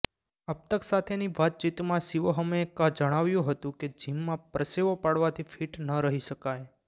અબતક સાથેની વાતચીતમાં શિવોહમએ જણાવ્યું હતું કે જિમમાં પરસેવો પાડવાથી ફીટ ન રહી શકાય